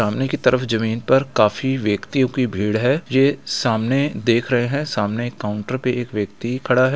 सामने की तरफ जमीन पर काफी व्यक्तियो की भीड़ है ये सामने देख रहे है सामने कॉउंटर पे एक व्यक्ति खड़ा है।